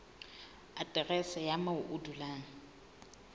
aterese ya moo o dulang